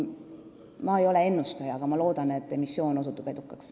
Ma ei ole ennustaja, aga ma loodan, et emissioon osutub edukaks.